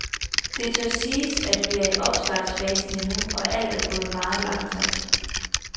Det tør siges, at vi er i opstartsfasen endnu, og alt er gået meget langsomt.